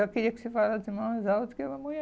Eu queria que você falasse de mais alto.